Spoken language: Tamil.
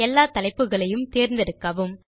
எல்லா தலைப்புகளையும் தேர்ந்தெடுக்கவும்